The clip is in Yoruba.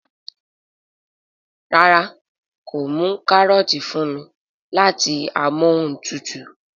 ràrá kò mú karọọti fún mí láti Amóhuntutù